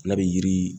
N'a bɛ yiri